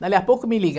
Dali a pouco me liga.